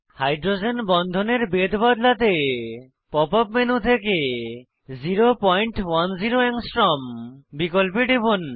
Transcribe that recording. hydrogen বন্ধনের বেধ বদলাতে পপ আপ মেনু থেকে 010 A বিকল্পে টিপুন